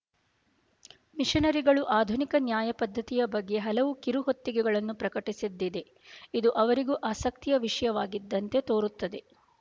ಮಿಶನರಿಗಳು ಆಧುನಿಕ ನ್ಯಾಯ ಪದ್ಧತಿಯ ಬಗ್ಗೆ ಹಲವು ಕಿರುಹೊತ್ತಿಗೆಗಳನ್ನು ಪ್ರಕಟಿಸಿದ್ದಿದೆ ಇದು ಅವರಿಗೂ ಆಸಕ್ತಿಯ ವಿಷಯವಾಗಿದ್ದಂತೆ ತೋರುತ್ತದೆ